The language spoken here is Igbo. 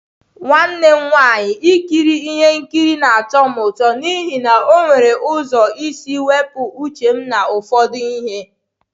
Nwanne m nwanyị, Ikiri ihe nkiri na-atọ m ụtọ n'ihi na ọ nwere ụzọ isi wepụ uche m na ụfọdụ ihe.